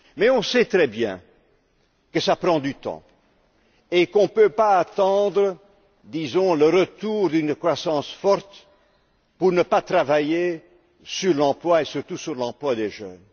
Mais on sait très bien que cela prend du temps et qu'on ne peut pas attendre, disons, le retour d'une croissance forte sans travailler sur l'emploi, et surtout sur l'emploi des jeunes.